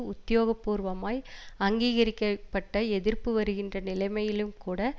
உத்தியோகப்பூர்வமாய் அங்கீகரிக்க பட்ட எதிர்ப்பு வருகின்ற நிலைமையிலும் கூட